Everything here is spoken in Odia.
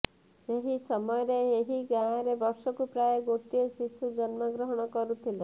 ସେହି ସମୟରେ ଏହି ଗାଁରେ ବର୍ଷକୁ ପ୍ରାୟ ଗୋଟିଏ ଶିଶୁ ଜନ୍ମଗ୍ରହଣ କରୁଥିଲା